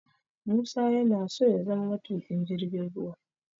Musa yana so ya zama matuƙin jirgin ruwa